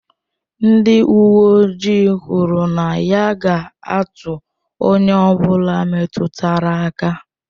Ndị uwe ojii kwuru na ya ga-atụ onye ọ bụla metụtara aka.